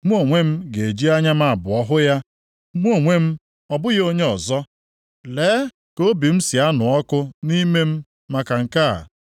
Mụ onwe m ga-eji anya m abụọ hụ ya, mụ onwe m, ọ bụghị onye ọzọ. Lee ka obi m si anụ ọkụ nʼime m maka nke a!